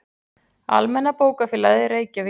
Almenna bókafélagið, Reykjavík.